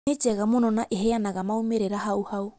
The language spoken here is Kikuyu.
Nĩ njega mũno na iheanaga maumĩrĩra hau hau